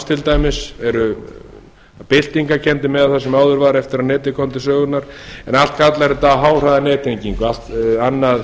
til dæmis eru byltingarkenndir miðað við það sem áður var eftir að netið kom til sögunnar en allt kallar þetta á háhraðanettengingu annað